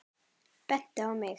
Bent á mig!